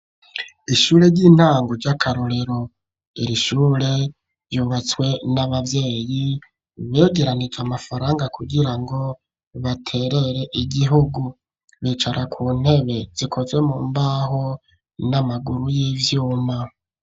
Ishure ry'intango ry'akarorero irishure ryubatswe n'ababyeyi begeranije amafaranga kugirango baterere igihugu, bicara ku ntebe zikozwe mu mbaho n'amaguru y'ivyuma.